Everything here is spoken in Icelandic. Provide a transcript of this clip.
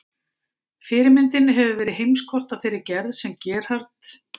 Fyrirmyndin hefur verið heimskort af þeirri gerð sem Gerhard